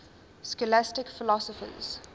scholastic philosophers